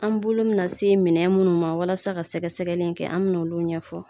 An bolo bɛ nan se minnɛ na se minɛ minnu ma walasa ka sɛgɛ sɛgɛli in kɛ an bɛ n' olu ɲɛfɔ?